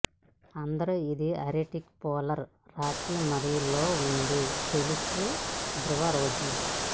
అందరూ ఇది Arctic polar రాత్రి మరియు లో ఉంది తెలుసు ధ్రువ రోజు